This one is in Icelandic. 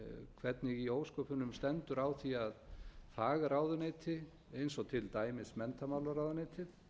hvernig í ósköpunum stendur á því að fagráðuneyti eins og til dæmis menntamálaráðuneytið